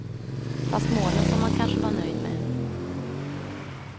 Fast målen får man kanske vara nöjd med.